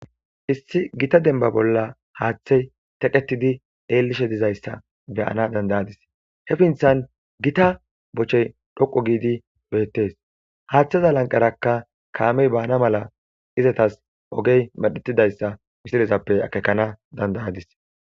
Issi gita demba bolla haaththey teqetidi eellishe dizayssa beyana dandayadis he finthan gita bochey dhoqo giidi beettees haaththeza lanqarakka kaamey baana mala izatas ogey medhetidayssa misilezappe akekana dandayadis